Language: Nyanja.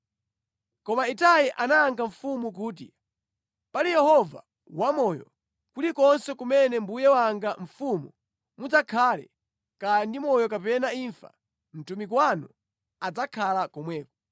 Koma Itai anayankha mfumu kuti, “Pali Yehova wamoyo, kulikonse kumene mbuye wanga mfumu mudzakhala, kaya ndi moyo kapena imfa, mtumiki wanu adzakhala komweko.”